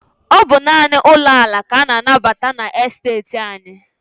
Ọ bụ naanị ụlọ ala ka a na-anabata na esteeti anyị.